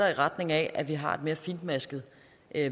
i retning af at vi har et mere fintmasket